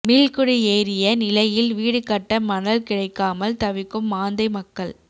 மீள்குடியேறிய நிலையில் வீடு கட்ட மணல் கிடைக்காமல் தவிக்கும் மாந்தை மக்கள்